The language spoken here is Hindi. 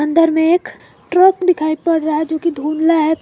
अंदर में एक ट्रक दिखाई पड़ रहा है जो की धुंधला है।